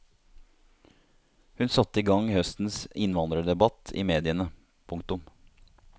Hun satte i gang høstens innvandrerdebatt i mediene. punktum